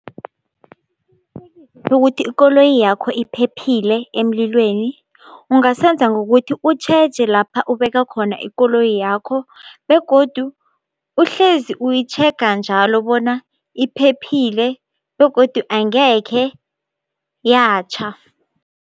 Bokuthi ikoloyi yakho iphephile emlilweni ungasenza ngokuthi utjheje lapha ubeka khona ikoloyi yakho, begodu uhlezi uyitjhega njalo bona iphephile begodu angekhe yatjha.